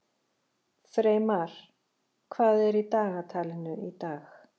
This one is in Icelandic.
Freymar, hvað er í dagatalinu í dag?